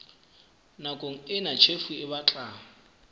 nakong ena tjhefo e batla